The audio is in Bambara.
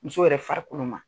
Muso yɛrɛ farikolo ma.